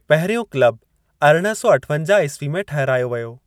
पहिरियों क्लब अरिड़हं सौ अठवंजाह ईस्वी में ठहिरायो वियो।